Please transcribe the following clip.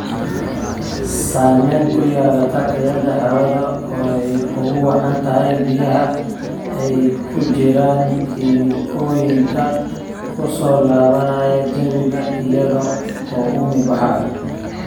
Saamayn ku yeelata tayada hawada oo ay ugu wacan tahay biyaha ay ku jiraan kiimikooyinka ku soo laabanaya jawiga iyada oo uumi baxayo.